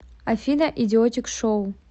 афина идиотик шоу